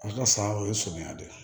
A ka san o ye surunya de ye